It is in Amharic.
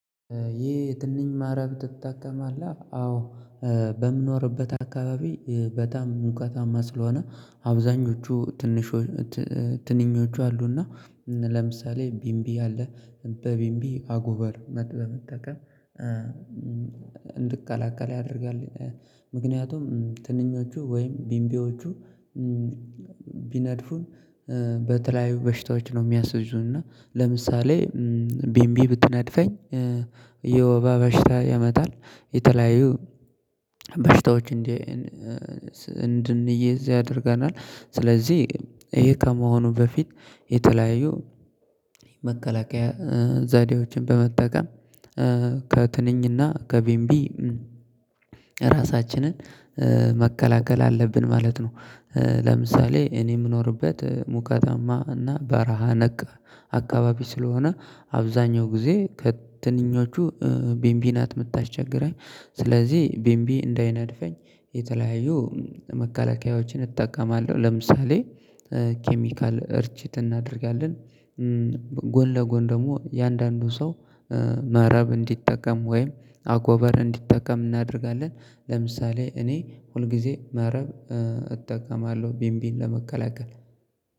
ይህ ትንኝ መረብ ትጠቀማለህ? አዎ። በምኖርበት አካባቢ በጣም ሙቀታማ ስለሆነ አብዛኞቹ ትንኞቹ አሉና። ለምሳሌ ቢምቢ አለ። በቢንቢ አጎበር በመጠቀም እንድትቀላቀል ያደርጋል። ምክንያቱም ትንኞቹ ወይም ቢንቢዎቹ። ቢነድፉኝ በተለያዩ በሽታዎች ነው የሚያሲዙንና። ለምሳሌ ቢምቢ ብትነድፈኝ የወባ በሽታ ያመጣል። የተለያዩ በሽታዎች እንድንይዝ ያደርገናል። ስለዚህ ይሄ ከመሆኑ በፊት የተለያዩ መከላከያ ዛዴዎችን በመጠቀም ከትንኝና ከቢምቢ ራሳችንን መከላከል አለብን ማለት ነው። ለምሳሌ እኔ የምኖርበት ሙቀታማ እና በረሃ ነክ። አካባቢ ስለሆነ አብዛኛው ጊዜ ከትንኞቹ ቢንቢ ናት የምታስቸግረኝ። ስለዚህ ቢምቢ እንዳይነድፈኝ የተለያዩ መከላከያዎችን እጠቀማለሁ። ለምሳሌ ኬሚካል እርጭት እናደርጋለን። ጎን ለጎን ደግሞ እያንዳንዱ ሰው መረብ እንዲጠቀም ወይም አጎቨር እንዲጠቀም እናደርጋለን። ለምሳሌ እኔ ሁልጊዜ መረብ እጠቀማለሁ ቢንቢን ለመከላከል